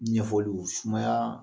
Ɲɛfɔliw sumaya